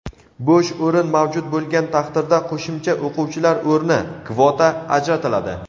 bo‘sh o‘rin mavjud bo‘lgan taqdirda qo‘shimcha o‘quvchilar o‘rni (kvota) ajratiladi.